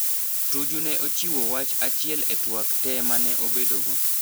Tuju ne ochiwo wach achiel e twak tee mane obedo go.